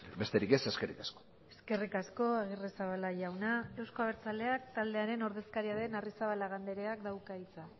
besterik ez eskerrik asko eskerrik asko agirrezabala jauna euzko abertzaleak taldearen ordezkaria den arrizabalaga andreak dauka hitza